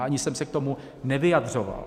A ani jsem se k tomu nevyjadřoval.